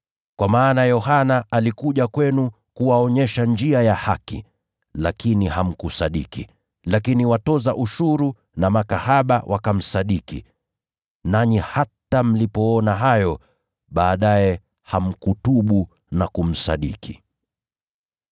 Kwa maana Yohana alikuja kwenu kuwaonyesha njia ya haki, lakini hamkumsadiki, lakini watoza ushuru na makahaba wakamsadiki. Nanyi hata mlipoona hayo, baadaye hamkutubu na kumsadiki.